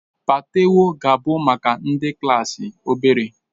Patewo ga-abụ maka ndị klaasị obere